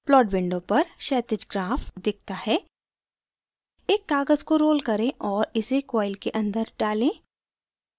plot window पर क्षैतिज graph दिखता है एक काग़ज़ को roll करें और इसे coil के अंदर डालें